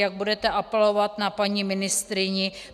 Jak budete apelovat na paní ministryni?